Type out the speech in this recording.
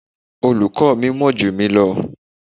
Olùkọ́ mi mọ̀ jù mí lọ.